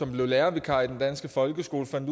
blev lærervikar i den danske folkeskole han